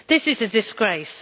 This is a disgrace.